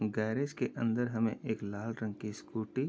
garage के अंदर हमें एक लाल रंग की स्कूटी --